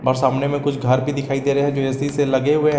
और सामने में कुछ घर भी दिखाई दे रहे हैं जो ऐ सी से लगे हुए हैं।